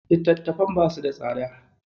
Littatafan basu da tsada.